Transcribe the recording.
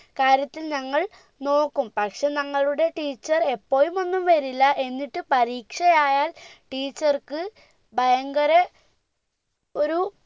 കാര്യത്തിൽ ഞങ്ങൾ നോക്കും പക്ഷെ ഞങ്ങളുടെ teacher ഇപ്പോഴും ഒന്നും വരില്ല എന്നിട്ട് പരീക്ഷയായാൽ teacher ക്ക് ഭയങ്കര ഒരു